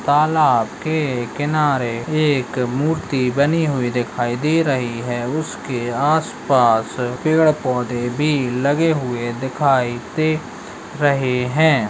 तालाब के किनारे एक मूर्ति बनी हुई दिखाई दे रही है उसके आस-पास पेड़-पौधे भी लगे हुए दिखाई दे रहे हैं।